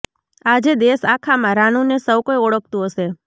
આજે દેશ આખામાં રાનૂને સૌ કોઈ ઓળખતું હશે